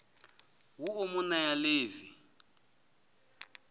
ha u mu nea ḽivi